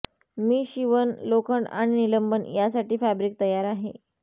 मी शिवण लोखंड आणि निलंबन साठी फॅब्रिक तयार आहे